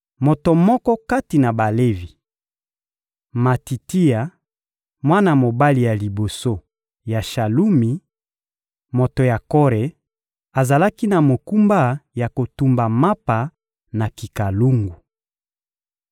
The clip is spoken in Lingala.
Moto moko kati na Balevi, Matitia, mwana mobali ya liboso ya Shalumi, moto ya Kore, azalaki na mokumba ya kotumba mapa na kikalungu.